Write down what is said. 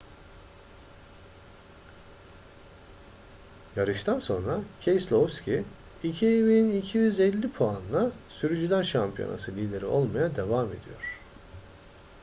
yarıştan sonra keselowski 2.250 puanla sürücüler şampiyonası lideri olmaya devam ediyor